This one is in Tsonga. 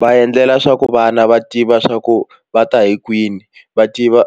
Va endlela swa ku vana va tiva swa ku va ta hi kwini va tiva